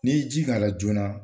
Ni y'i ji k'a la joona.